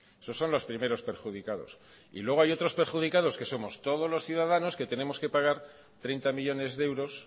esos son los primeros perjudicados y luego hay otros perjudicados que somos todos los ciudadanos que tenemos que pagar treinta millónes de euros